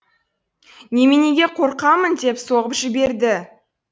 неменеге қорқамын деп соғып жіберді